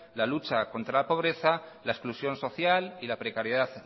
la lucha contra la pobreza la exclusión social y la precariedad